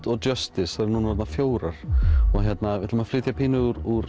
og Justice þær eru orðnar fjórar við ætlum að flytja pínu úr